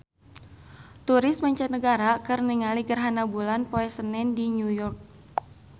Turis mancanagara keur ningali gerhana bulan poe Senen di New York